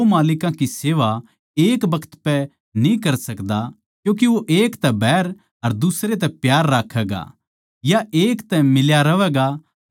अर जै थम संसारिक धनदौलत को इस्तमाल करण म्ह भरोस्सेमंद न्ही ठहरे तो परमेसवर थमनै सुर्गीय धन क्यूँ देवैगा